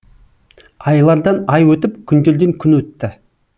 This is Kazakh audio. айлардан ай өтіп күндерден күн өтті